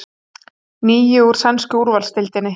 Níu úr sænsku úrvalsdeildinni